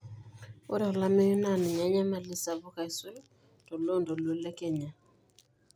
ore olameyu naa ninye enyamali sapuk aisul toloontoluo le kenya